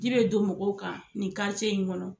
Ji bɛ don mɔgɔw kan nin in ŋɔnɔ